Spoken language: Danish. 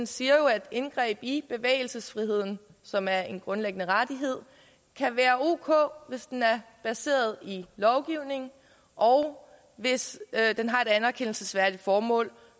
siger jo at indgreb i bevægelsesfriheden som er en grundlæggende rettighed kan være ok hvis den er baseret i lovgivningen og hvis den har et anerkendelsesværdigt formål